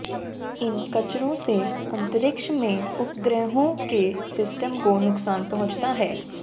इन कचरों से अंतरिक्ष में उपग्रहों के सिस्टम को नुक़सान पहुँचता है